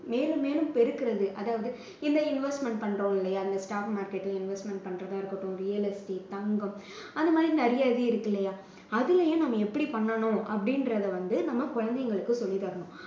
மேலும் மேலும் பெருக்குறது. அதாவது இந்த investment பண்றோம் இல்லையா அது stock market ல investment பண்றதா இருக்கட்டும் real estate தங்கம் அந்த மாதிரி நிறைய இது இருக்கில்லையா அதுலேயும் நம்ம எப்படி பண்ணனும் அப்படின்றத வந்து நம்ம குழந்தைகளுக்கு சொல்லித் தரணும்